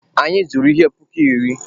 Anyị zụrụ ihe puku iri.